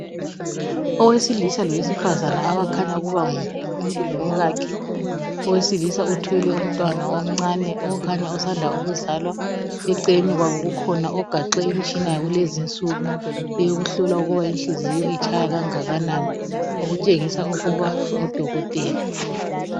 Owesilisa lowesifazana abakhanya ukuba ngumuntu lomkakhe. Owesilisa uthwele umntwana omncane okukhanya usanda ukuzalwa eceleni kwabo kukhona ogaxe imitshina yakulezinsuku yokuhlola ukuba inhliziyo itshaya kangakanani utshengisa ukuba ngudokotela.